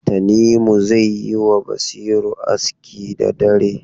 Tanimu zai yi wa Basiru aski da dare.